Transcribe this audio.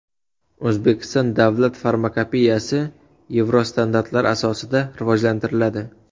O‘zbekiston davlat farmakopeyasi yevrostandartlar asosida rivojlantiriladi.